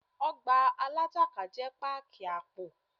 Ọgbà Alágbàká jẹ́ páàkì àpò.